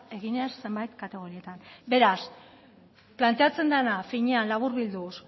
eginez zenbait kategorietan beraz planteatzen dena finean laburbilduz